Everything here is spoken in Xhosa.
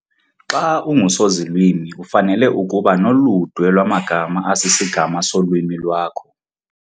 Xa ungusozilwimi ufanele ukuba noludwe lwamagama asisigama solwimi lwakho